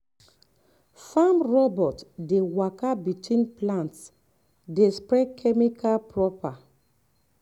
farm robot dey waka between plants dey spray chemical proper.